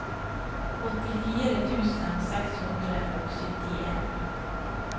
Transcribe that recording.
åttifire tusen seks hundre og syttien